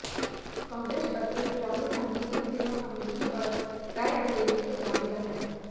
कांग्रेस अध्यक्ष राहुल गांधी इन दिनों अमेठी और रायबरेली के दौरे पर हैं